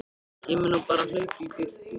Ég mundi nú bara hlaupa í burtu.